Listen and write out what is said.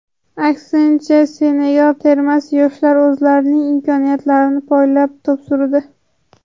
Aksincha, Senegal termasi yoshlari o‘zlarining imkoniyatlarini poylab to‘p surdi.